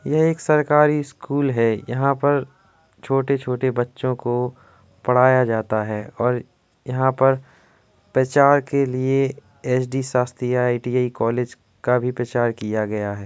यह एक सरकारी स्कूल है। यहाँ पर छोटे-छोटे बच्चो को पढ़ाया जाता है और यहाँ पर प्रचार के लिए एस.डी. शास्त्री आई.टी.आई. कॉलेज का भी प्रचार किया गया है।